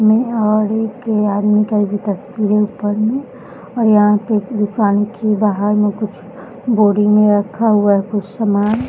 और एक आदमी का तस्वीर है ऊपर में और यहाँ पे दुकान के बाहर में कुछ बोरी में रखा हुआ कुछ सामान।